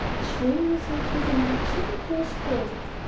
что у нас вообще за группа что тут происходит